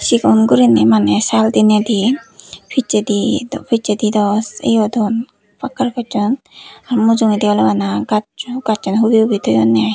segon guriney maney sal deney de pesade pesade dw eyadon pakar pessan ar mujongodi oley bana gaaso gaason hubi hubi tuyondey.